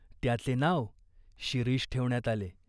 त्याचे नाव शिरीष ठेवण्यात आले.